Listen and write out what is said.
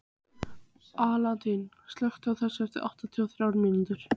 Alanta, slökktu á þessu eftir áttatíu og þrjár mínútur.